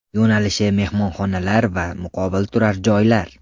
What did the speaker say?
Yo‘nalishi mehmonxonalar va muqobil turar joylar.